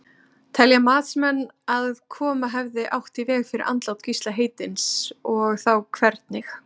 Telja matsmenn að koma hefði mátt í veg fyrir andlát Gísla heitins og þá hvernig?